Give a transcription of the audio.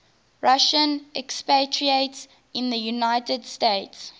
russian expatriates in the united states